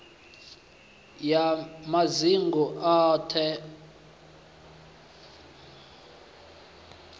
ya madzingu ayo t hod